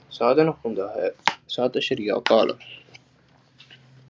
ਸਾਰਿਆਂ ਨੂੰ ਸਮਝ ਹੈ ਸਤਿ ਸ਼੍ਰੀ ਅਕਾਲ